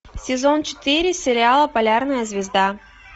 сезон четыре сериала полярная звезда